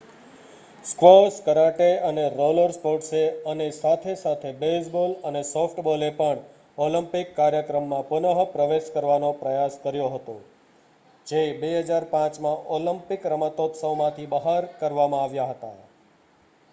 squash karate અને roller સ્પોર્ટ્સે અનેસાથે-સાથે બેઝબોલ અને સોફ્ટબોલે પણ ઓલિમ્પિક કાર્યક્રમમાં પુનઃપ્રવેશ કરવાનો પ્રયાસ કર્યો હતો જે 2005માં ઓલિમ્પિકરમતોત્સવમાંથી બહાર કરવામાં આવ્યા હતા